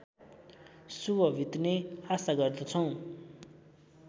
शुभ बित्ने आशा गर्दछौँ